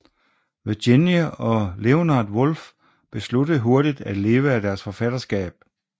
Virginia og Leonard Woolf besluttede hurtigt at leve af deres forfatterskab